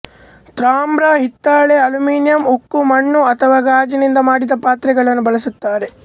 ತಾಮ್ರ ಹಿತ್ತಾಳೆ ಅಲ್ಯೂಮಿನಿಯಂ ಉಕ್ಕು ಮಣ್ಣು ಅಥವಾ ಗಾಜಿನಿಂದ ಮಾಡಿದ ಪಾತ್ರೆಗಳನ್ನು ಬಳಸುತ್ತಾರೆ